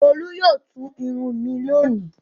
Olú yóò tú irun mi lónìí.